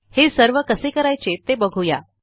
हे सर्व कसे करायचे ते बघू या